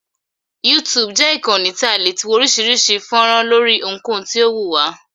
YouTube jẹ́ ìkànnì tí a ti le wo oríṣiríṣi fọ́nrán lóri ohunkohun tí o wù wá.